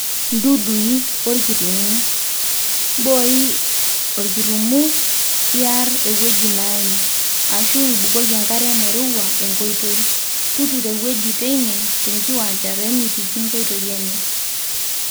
dudui(olkirumu)mbooi olkirumu iyar ewueji naaim. ashu ibukoki enkare nairowua enkoitoi, tuturo ewueji teine te nkiwuanja pemitiki nkoitoi enye